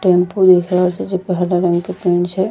टेम्पू दिख रहल छे जै पे हरा रंग के पेंट छै।